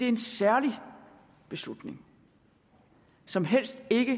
en særlig beslutning som helst ikke